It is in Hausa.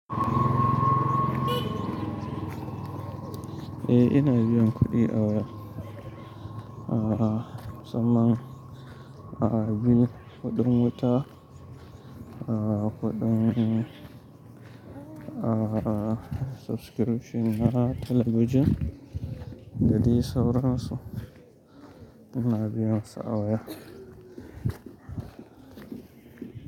Eh ina biyan kuɗi a waya. Ah, musamman ah bill kudin wuta, ah kudin ah subscription na talabijin da dai sauransu. Ina biyan su a waya.